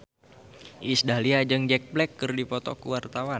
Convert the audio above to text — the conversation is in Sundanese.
Iis Dahlia jeung Jack Black keur dipoto ku wartawan